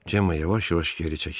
Cema yavaş-yavaş geri çəkildi.